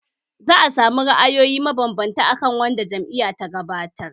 Za a sami ra’ayoyi mabanbanta a kan wanda jam’iyyar ta gabatar